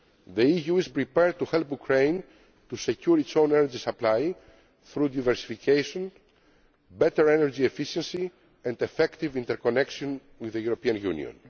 supply. The EU is prepared to help Ukraine to secure its own energy supply through diversification, better energy efficiency and effective interconnection with the European